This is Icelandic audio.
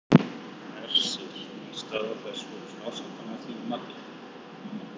Hersir: Er staða þessa hóps ásættanleg að þínu mati núna?